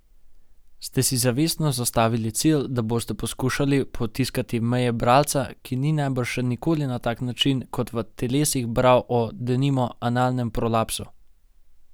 Ste si zavestno zastavili cilj, da boste poskušali potiskati meje bralca, ki ni najbrž še nikoli na tak način kot v Telesih bral o, denimo, analnem prolapsu?